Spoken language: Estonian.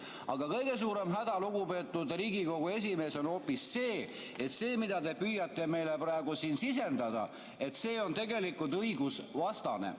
Aga kõige suurem häda, lugupeetud Riigikogu esimees, on hoopis see, et see, mida te püüate meile praegu siin sisendada, on tegelikult õigusvastane.